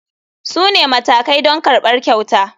Su ne matakai don karɓar kyauta.